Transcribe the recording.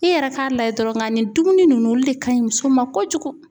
I yɛrɛ k'a lajɛ dɔrɔn nka nin dumuni nunnu olu de kaɲi muso ma kojugu